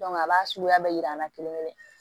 a b'a suguya bɛɛ yir'an na kelen kelen